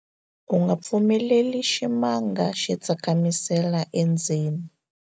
u nga pfumeleli ximanga xi tsakamisela endzeni